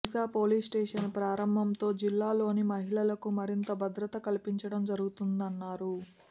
దిశ police station ప్రారంభంతో జిల్లాలోని మహిళలకు మరింత భద్రత కల్పించటం జరుగుతుందన్నారు